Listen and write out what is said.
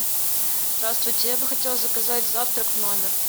здравствуйте я бы хотела заказать завтрак в номер